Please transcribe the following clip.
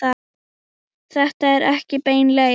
Þetta er ekki bein leið.